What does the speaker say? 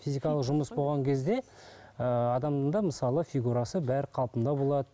жұмыс болған кезде ыыы адамда мысалы фигурасы бәрі қалпында болады